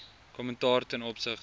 kommentaar ten opsigte